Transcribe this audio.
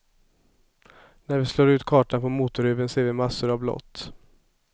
När vi slår ut kartan på motorhuven ser vi massor av blått.